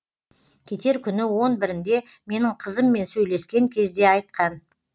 кетер күні он бірінде менің қызыммен сөйлескен кезде айтқан